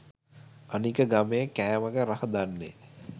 අනික ගමේ කෑමක රහ දන්නෙ